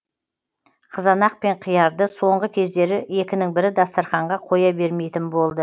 қызанақ пен қиярды соңғы кездері екінің бірі дастарханға қоя бермейтін болды